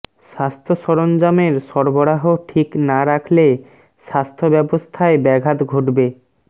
স্বাস্থ্য সরঞ্জামের সরবরাহ ঠিক না রাখলে স্বাস্থ্য ব্যবস্থায় ব্যাঘাত ঘটবে